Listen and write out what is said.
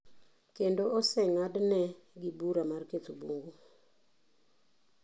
Kendo osengadne gi bura mar ketho bungu.